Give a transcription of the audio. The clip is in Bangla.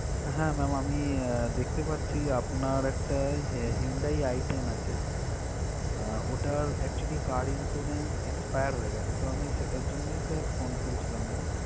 হ্যাঁ ma'am আমি দেখতে পাচ্ছি আপনার একটা Hyundai i ten আছে আহ ওটার actually car insurance expire হয়ে গেছে তো আমি সেটার জন্যই sir phone করেছিলাম ma'am